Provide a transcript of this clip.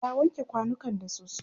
ta wanke kwanukan da soso